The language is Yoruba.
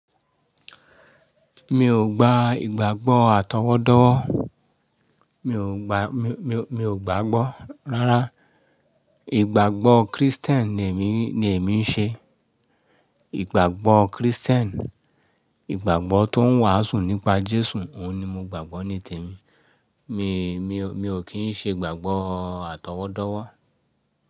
Mi ò gba ìgbàgbọ́ àtọwọ́dọ́wọ́, mi ò gbàgbọ́. Rárá, ìgbàgbọ́ Kristẹ́nì ni èmi ń ṣe. Ìgbàgbọ́ Kristẹ́nì, ìgbàgbọ́ tó ń wàásù nípa Jésù, òun ni mo gbàgbọ́ ní tèmi. Mi ò kí ń ṣe ìgbàgbọ́ àtọwọ́dọ́wọ́.